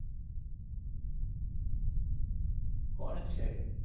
કોણ છે એ